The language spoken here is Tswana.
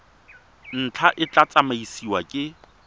ntlha e tla tsamaisiwa ke